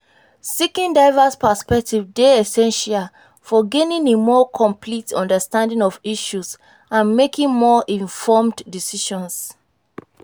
seeking diverse perspectives dey essential for gaining a more complete understanding of issues and making more informed decisions.